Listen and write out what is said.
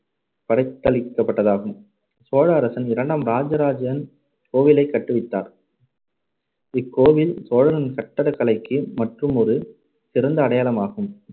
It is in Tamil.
படைத்தளிக்கப்பட்டதாகும். சோழ அரசன் இரண்டாம் ராஜராஜன் இக்கோவிலைக் கட்டுவித்தார் இக்கோவில் சோழன் கட்டடக் கலைக்கு மற்றுமொரு சிறந்த அடையாளமாகும்.